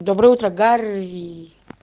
доброе утро гарри